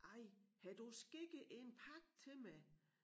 Ej har du skikket en pakke til mig